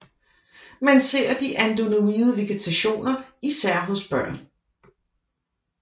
Man ser de adenoide vegetationer især hos børn